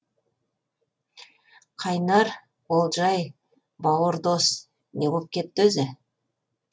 қайнар олжаи бауыр дос не боп кетті өзі